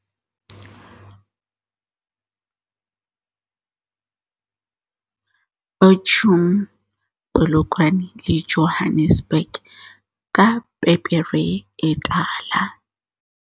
Bo chum, Polokwane le Johannes burg ka pepere e tala.